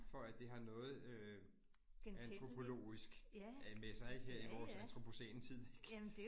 For at det har noget øh antropologisk øh med sig her i vores antropocæne tid ik